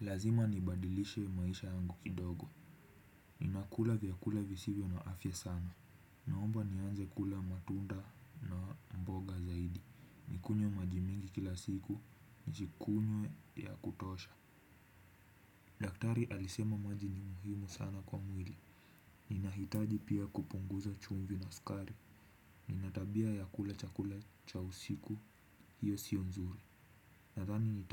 Lazima nibadilishe maisha yangu kidogo. Ninakula vyakula visivyo na afya sana, naomba nianze kula matunda na mboga zaidi, nikunywe maji mingi kila siku, nikunywe ya kutosha. Daktari alisema maji ni muhimu sana kwa mwili, ninahitaji pia kupunguza chumvi na sukari. Nina tabia ya kula chakula cha usiku, hiyo sio nzuri, nadhani